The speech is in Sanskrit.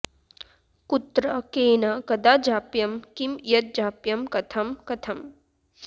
कुत्र केन कदा जाप्यं किं यजाप्यं कथं कथम्